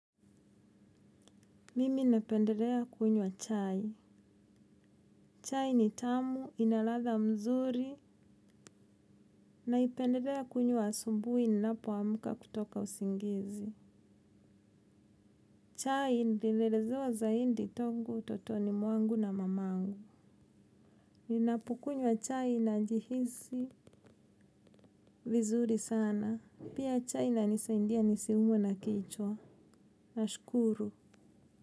Mimi napendelea kunywa chai. Chai ni tamu, ina ladha mzuri. Naipendelea kunywa asubuhi inapu ninapoamka kutoka usingizi. Chai nililelezewa zaidi tangu, utotoni mwangu na mamangu. Ninapokunywa chai najihisi vizuri sana. Pia chai inanisaidia nisiumwe na kichwa. Nashukuru.